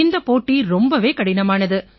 இந்தப் போட்டி ரொம்ப கடினமானது